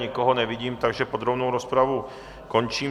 Nikoho nevidím, takže podrobnou rozpravu končím.